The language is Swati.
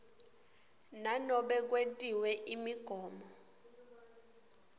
nanobe kwetiwe imigomo